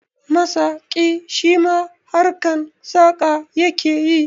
Masaƙi shima harkan saƙa yake yi